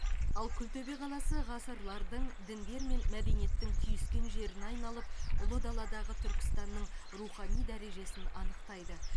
ал күлтөбе қаласы ғасырлардың діндер мен мәдениеттің түйіскен жеріне айналып ұлы даладағы түркістанның рухани дәрежесін анықтайды